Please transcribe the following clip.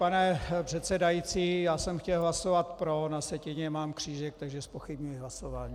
Pane předsedající, já jsem chtěl hlasovat pro, na sjetině mám křížek, takže zpochybňuji hlasování.